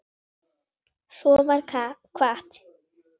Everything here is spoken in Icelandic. Svo var kvatt.